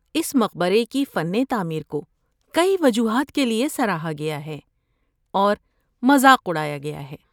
اس مقبرے کی فن تعمیر کو کئی وجوہات کے لیے سراہا گیا ہے اور مذاق اڑایا گیا ہے۔